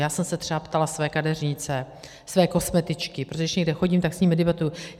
Já jsem se třeba ptala své kadeřnice, své kosmetičky, protože když někde chodím, tak s nimi debatuji.